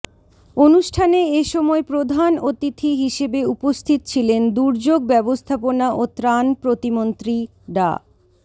অনুষ্ঠানে এ সময় প্রধান অতিথি হিসেবে উপস্থিত ছিলেন দুর্যোগ ব্যবস্থাপনা ও ত্রাণ প্রতিমন্ত্রী ডা